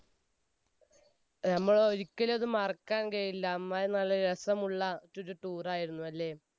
നമ്മൾ ഒരിക്കലും അത് മറക്കാൻ കഴിയില്ല, അമ്മാതിരി നല്ല രസമുള്ള ഒരു tour ആയിരുന്നു അല്ലെ?